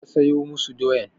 Je ka soya masu doyan!